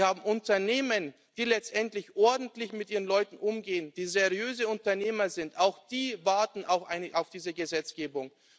Wir haben Unternehmen, die letztendlich ordentlich mit ihren Leuten umgehen, die seriöse Unternehmer sind, auch die warten auf diese Gesetzgebung.